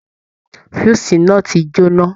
Fúúsì náà tí j'óná.